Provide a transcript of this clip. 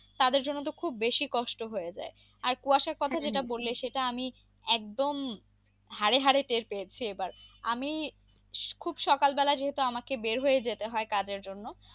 তাদের জন্য তো খুব বেশি কষ্ট হয়ে যাই আর কুয়াশার কথা সেটা আমি একদম হারে হারে টের পেয়েছে এবার আমি খুব সকাল বেলা যেহেতু আমাকে বের হয়ে যেতে হয় কাজের জন্য।